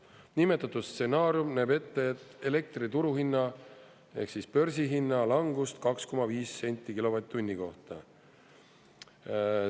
Nimetatud stsenaarium näeb ette elektri turuhinna ehk siis börsihinna langust 2,5 senti kilovatt-tunni kohta.